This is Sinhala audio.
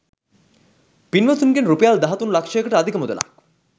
පින්වතුන්ගෙන් රුපියල් දහතුන් ලක්ෂයකට අධික මුදලක්